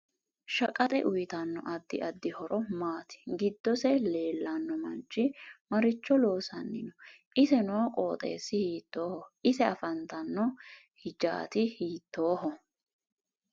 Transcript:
Shaqaxe uyiitanno addi addi horo maati giddose leelanno manchi maricho loosani noo ise noo qoxeesi hiitooho ise afantanno hijaati hiitooho